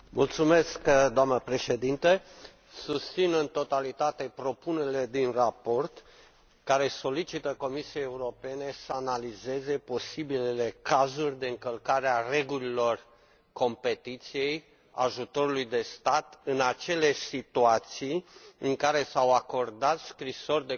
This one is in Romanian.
Doamnă președinte, susțin în totalitate propunerile din raport, care solicită Comisiei Europene să analizeze posibilele cazuri de încălcare a regulilor concurenței și ajutorului de stat în acele situații în care s au acordat scrisori de confort